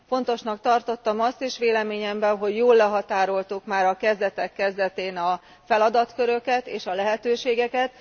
Fontosnak tartottam azt is véleményemben, hogy jól lehatároltuk már a kezdetek kezdetén a feladatköröket és a lehetőségeket.